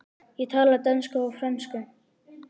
Ég tala dönsku og frönsku.